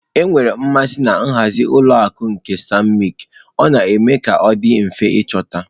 Enwere m mmasị na nhazi nke ụlọ akụ stanbịkị ,ọ na-eme ka ọ dị mfe ịchọta.